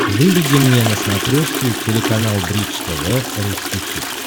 выведи мне на смотрешке телеканал бридж тв русский хит